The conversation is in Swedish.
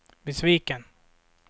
besviken